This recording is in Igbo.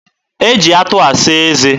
e ji atụ asa eze.